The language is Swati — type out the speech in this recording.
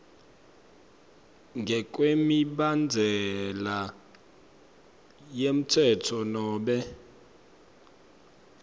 ngekwemibandzela yemtsetfo nobe